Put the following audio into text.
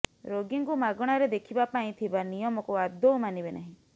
େରାଗୀଙ୍କୁ ମାଗଣାରେ ଦେଖିବା ପାଇଁ ଥିବା ନିୟମକୁ ଆଦୌ ମାନିବେ ନାହିଁ